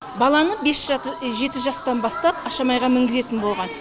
баланы бес жеті жастан бастап ашамайға мінгізетін болған